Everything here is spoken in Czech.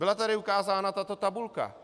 Byla tady ukázána tato tabulka.